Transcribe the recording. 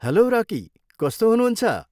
Hello Rocky. कस्तो हुनुहुन्छ?